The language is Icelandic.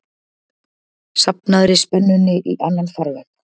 safnaðri spennunni í annan farveg.